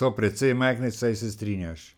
so precej majhne, saj se strinjaš?